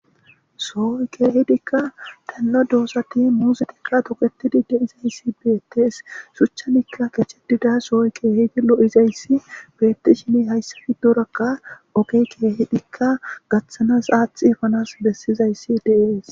Sohon cooridika dan'oo doozati muuzetika tookrti diizayssi bettes shuchchan kechchettida zo'oy kehidi looizayssi bettishin hayssa giddorakka oggey kehidikka gaththanas aathi effanasi bessizaysi de'es.